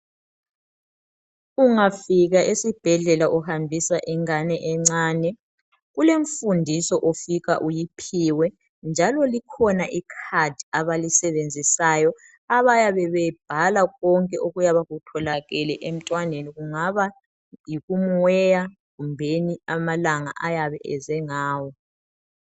Ungafika esibhedlela uhambisa ingane encane kulemfundiso ofika uyiphiwe njalo likhona i card abalisebenzisayo abayabe bebhala konke okuyabe kutholakele emntwaneni kungaba yikumweya kumbe amalanga ayabe eze ngawo.